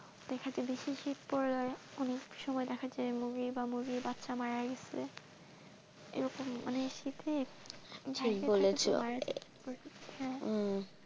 দেখা যাই বেশি শীত পড়ে যায় অনেক সময় দেখা যায় যে মুরগি বা মুরগির বাচ্চা মারা গিয়েসে মানে এরকম মানে শীতে